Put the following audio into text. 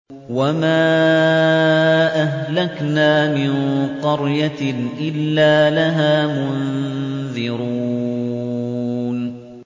وَمَا أَهْلَكْنَا مِن قَرْيَةٍ إِلَّا لَهَا مُنذِرُونَ